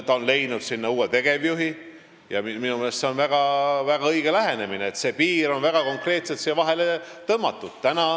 Ta on leidnud uue tegevjuhi ja minu meelest on see väga õige lähenemine, et piir on väga konkreetselt vahele tõmmatud.